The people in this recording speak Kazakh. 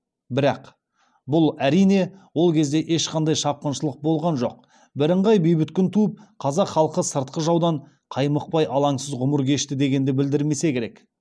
бірақ бұл әрине ол кезде ешқандай шапқыншылық болған жоқ бірыңғай бейбіт күн туып қазақ халқы сыртқы жаудан қаймықпай алаңсыз ғұмыр кешті дегенді білдірмесе керек